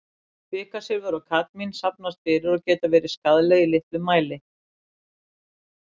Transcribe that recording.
Kvikasilfur og kadmín safnast fyrir og geta verið skaðleg í litlum mæli.